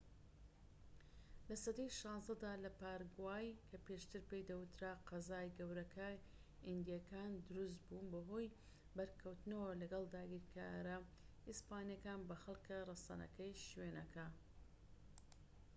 لە سەدەی ١٦ دا لە پاراگوای، کە پێشتر پێی دەوترا قەزا گەورەکەی ئیندیەکان دروستبوو بەهۆی بەرکەوتنەوە لەگەڵ داگیرکارە ئیسپانیەکان بە خەلکە رەسەنەکەی شوێنەکە